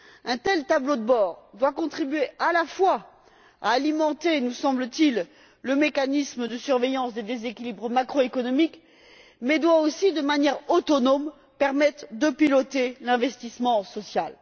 Un tel tableau de bord doit contribuer à alimenter nous semble t il le mécanisme de surveillance des déséquilibres macroéconomiques, mais doit aussi, de manière autonome, permettre de piloter l'investissement social.